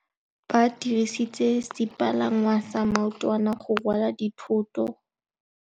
Ba dirisitse sepalangwasa maotwana go rwala dithôtô.